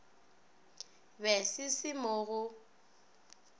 be se se mo go